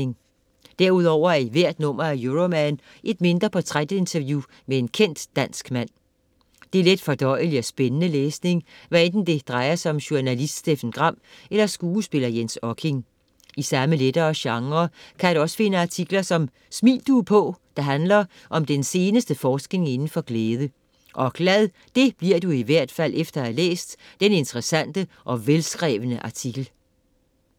Derudover er der i hvert nummer af Euroman et mindre portræt-interview med en kendt dansk mand. Det er let fordøjelig og spændende læsning, hvad enten det drejer sig om journalist Steffen Gram eller skuespiller Jens Okking. I samme lettere genre kan du også finde artikler som "Smil, du er på", der handler om den seneste forskning inden for glæde. Og glad, det bliver du i hvert fald efter at have læst den interessante og velskrevne artikel.